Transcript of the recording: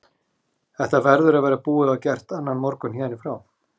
Þetta verður að vera búið og gert annan morgun héðan í frá.